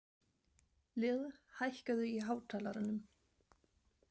Lill, hækkaðu í hátalaranum.